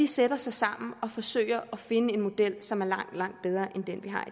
sætte sig sammen og forsøge at finde en model som er langt langt bedre end den